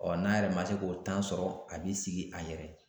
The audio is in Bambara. n'a yɛrɛ ma se k'o sɔrɔ a b'i sigi a yɛrɛ ye